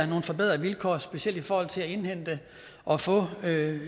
nogle forbedrede vilkår specielt i forhold til at indhente og få